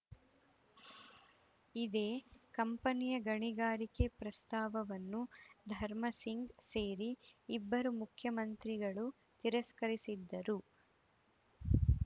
ಇದೇ ಕಂಪನಿಯ ಗಣಿಗಾರಿಕೆ ಪ್ರಸ್ತಾಪವನ್ನು ಧರ್ಮಸಿಂಗ್‌ ಸೇರಿ ಇಬ್ಬರು ಮುಖ್ಯಮಂತ್ರಿಗಳು ತಿರಸ್ಕರಿಸಿದ್ದರು